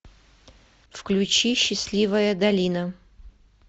включи счастливая долина